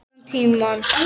Allan tímann.